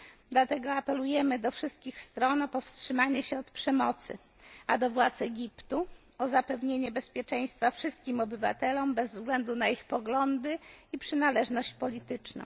Dlatego apelujemy do wszystkich stron o powstrzymanie się od przemocy, a do władz Egiptu o zapewnienie bezpieczeństwa wszystkim obywatelom bez względu na ich poglądy i przynależność polityczną.